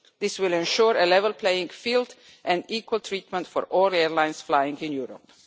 This will ensure a level playing field and equal treatment for all airlines flying in Europe.